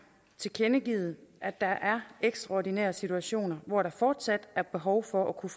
tilkendegivet at der er ekstraordinære situationer hvor der fortsat er behov for at kunne